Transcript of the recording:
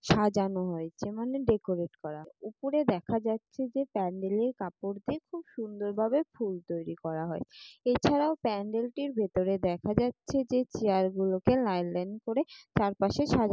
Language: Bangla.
সাজানো হয়েছে মানে ডেকোরেট করা। উপরে দেখা যাচ্ছে যে প্যান্ডেলের কাপড় দিয়ে খুব সুন্দরভাবে ফুল তৈরী করা হয়। এছাড়াও প্যান্ডেলটির ভেতরে দেখা যাচ্ছে যে চেয়ার গুলোকে লাইন লাইন করে চার পাশে সাজা--